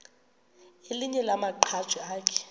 elinye lamaqhaji akhe